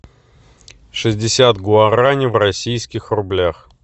шестьдесят гуарани в российских рублях